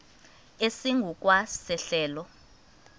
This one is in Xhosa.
esingu kwa sehlelo